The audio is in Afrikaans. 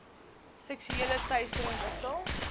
seksuele teistering wissel